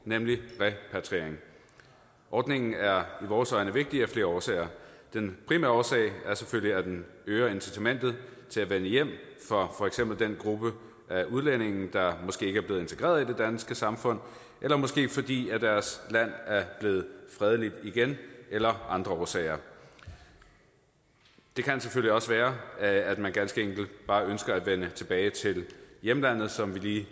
nemlig repatriering ordningen er i vores øjne vigtig af flere årsager den primære årsag er selvfølgelig at den øger incitamentet til at vende hjem for for eksempel den gruppe af udlændinge der måske ikke er blevet integreret i det danske samfund eller måske fordi deres land er blevet fredeligt igen eller af andre årsager det kan selvfølgelig også være at man ganske enkelt bare ønsker at vende tilbage til hjemlandet som vi lige